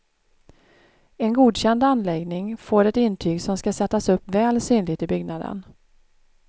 En godkänd anläggning får ett intyg som skall sättas upp väl synligt i byggnaden.